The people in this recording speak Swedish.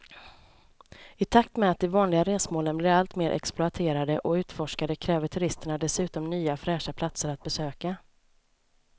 I takt med att de vanliga resmålen blir allt mer exploaterade och utforskade kräver turisterna dessutom nya fräscha platser att besöka.